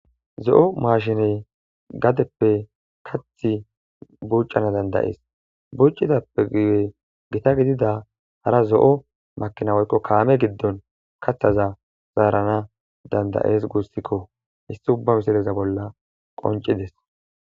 Zo'o mashine gadeppe kate buchanas dandaes bucidappe guyen gita dida hara zo'o makina woyikko kame gidon kataza zeranas dandaes gusikko hesiti uba bola qoncides.